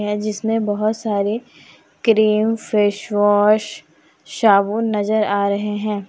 है जिसमें बहोत सारे क्रीम फेस वॉश साबुन नजर आ रहे हैं।